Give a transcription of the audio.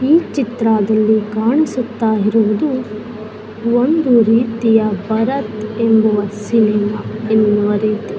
ಈ ಚಿತ್ರದಲ್ಲಿ ಕಾಣಿಸುತ್ತಾ ಇರುವುದು ಒಂದು ರೀತಿಯ ಭರತ್ ಎಂಬುವ ಸಿನಿಮಾ --